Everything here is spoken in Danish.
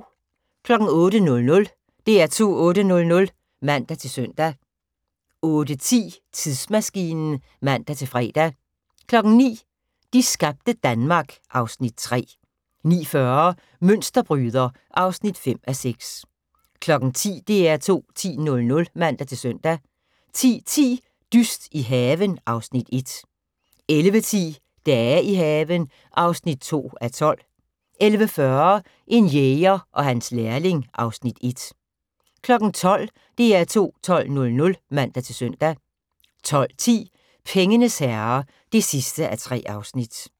08:00: DR2 8:00 (man-søn) 08:10: Tidsmaskinen (man-fre) 09:00: De skabte Danmark (Afs. 3) 09:40: Mønsterbryder (5:6) 10:00: DR2 10.00 (man-søn) 10:10: Dyst i haven (Afs. 1) 11:10: Dage i haven (2:12) 11:40: En jæger og hans lærling (Afs. 1) 12:00: DR2 12.00 (man-søn) 12:10: Pengenes herre (3:3)